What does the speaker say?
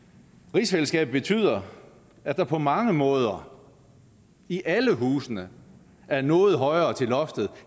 rigsfællesskabet betyder at der på mange måder i alle husene er noget højere til loftet